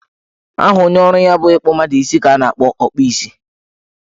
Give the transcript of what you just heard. Aha onye ọrụ ya bụ ịkpụ mmadụ isi ka a na-akpọ Ọkpụ isi